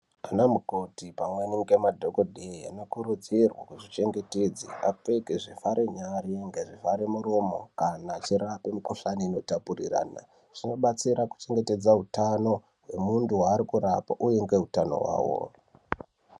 Anamukoti pamwe ngemadhokodheya, anokurudzirwa kuzvichengetedza, apfeke zvivhare nyara nezvivhare muromo, kana achirape mikhuhlani zvinotapuriranwa. Zvinobatsira kuchengetedza utano hwemunthu waari kurapa uye nehutano hwawo.